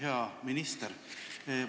Hea minister!